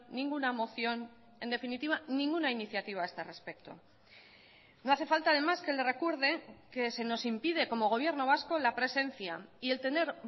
ninguna moción en definitiva ninguna iniciativa a este respecto no hace falta además que le recuerde que se nos impide como gobierno vasco la presencia y el tener